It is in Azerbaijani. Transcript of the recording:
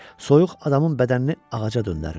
Soyuq adamın bədənini ağaca döndərirdi.